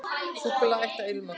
Súkkulaði ætti að ilma.